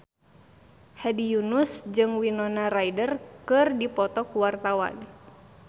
Hedi Yunus jeung Winona Ryder keur dipoto ku wartawan